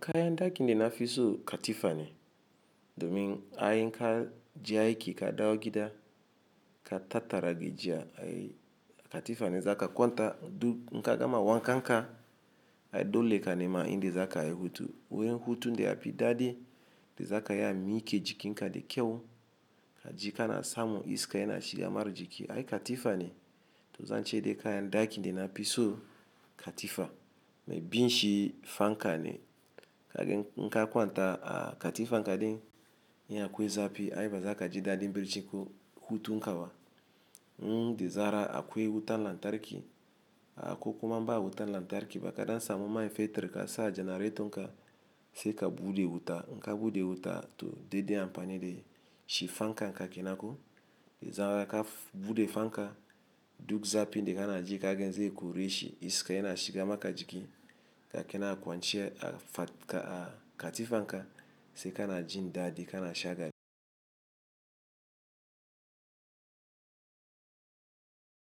Kayandaaki da na fiso katifane, domin bayan ka je aiki ka dawo gida ka tattara gajiya katifan da zaka kwanta duk in ka gama wankanka ai dole ka nema inda zakayi hutu wurin hutun da yafi dadi inda zaka iya mika jikinka da kyau kaji kana tsamun iska yana shiga ma jiki ai katifane za'a ce de kayan daki da nafiso katifa biyunshi fanka ne kaga in ka kwanta a katifanka din in akwai zafi ai baza kaji dadi bacci ai ko hutunka ba in da zarar akwai wutan lantarki ah ko kuma ba wutan lantarki ba gwara ka samu man fetur kasa a generator ka ba sai ka bude wuta in ka bude wuta toh dadai amfani dashi fankanka kenan ko da zarar ka bude fanka ka duk zafi da kanaji kaga zai koreshi iska yana shiga maka jiki ka kanan a kwance a katifanka sai kana jin dadi kan shagalinka a katifane zaka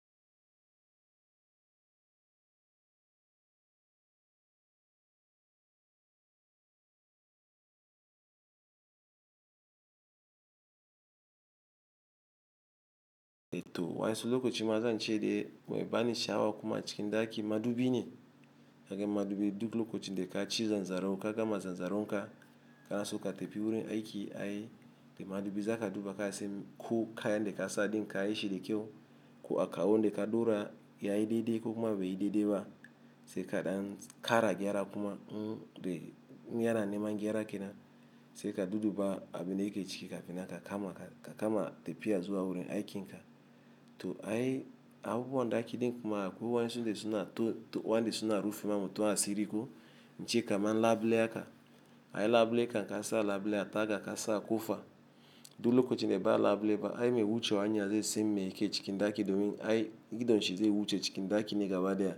kwanta, duk nka gama wankan ka, ai dole ka nema indi zaka ai hutu. Wuri hutu da yafi dadi de zaka ya miike jiki ka da kyau kaji kana samun iska yana shiga mara jiki. Kaga mudubi duk lokacin da kaci zanzaro ka gama zanzoronka kanaso ka tafi wurin aiki ai da mudubi zaka duba kasan ko kayan da kasa din kayi shi da kyau ko alkalo da ka daura yayi dadai ko baiyi baiyi dadai ba sai ka kara gyara kuma in yana neman gyara kenan se ka dudduba ba abun da yake ciki kafin nan ka kama ka kama tepiya zuwa wurin aikin ka to ai abubuwan ɗaaki di kuma akwai wansun da suna to wa nde suna rufin mamu to asiri ko, nce kamar labule haka. Ai labule kam kasa labule a taga kasa a kofa duk lokochi nde ba labule ba ai mai wucewa hanya zai san mai yake cikin ɗaaki domin ai idon shi zai wuce cikin ɗaaki ne gaba daya.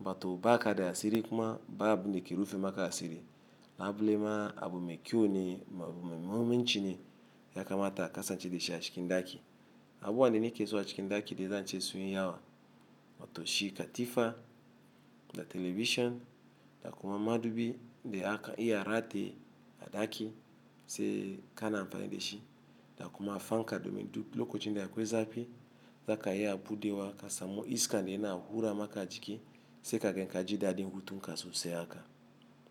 Wa to ba kada asiri kuma ba kada abun da ke rufin maka asiri. Labule ma abu me kyau ne me muhimmanci ne ya kamata a kasance dashi a cikin daki Abubuwande nake zuwa cikin ɗaki de zance sun yi yawa matoshi, katifa da television da kuma madubi de aka iya rate a ɗaaki se ka na amfani de shi da kuma fanka domin duk lokochi nde ya kwe zapi zaka iya bude wa ka samu iska nde yana hura maka jiki se ka ge ka ji dadi hutunka sosai haka.